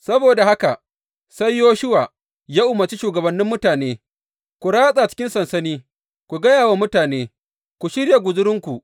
Saboda haka sai Yoshuwa ya umarci shugabannin mutane, Ku ratsa cikin sansani, ku gaya wa mutane, Ku shirya guzurinku.